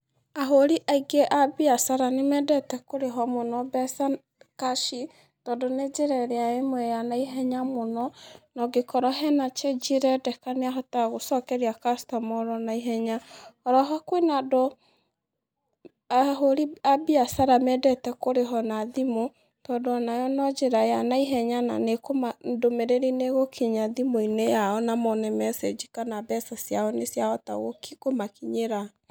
Ahũri aingĩ a mbiacara nĩ mendete kũrĩhwo mũno mbeca kaci, tondũ nĩ njĩra ĩrĩa ĩmwe ya na ihenya mũno. Na ũngĩkora hena change ĩrendeka nĩahotaga gũcokeria customer oro na ihenya. Oro ho kwĩna andũ, ahũri a mbiacara mendete kũrĩhwo na thimũ, tondũ ona yo no njĩra ya naihenya na ndũmĩrĩri nĩ ĩgũkinya thimũ-inĩ yao na mone message thimũ-inĩ yao kana mbeca ciao nĩ ciahota kũmakinyĩra.